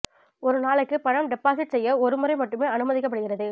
ஒரு நாளைக்கு பணம் டொபசிட் செய்ய ஒரு முறை மட்டுமே அனுமதிக்கப்படுகிறது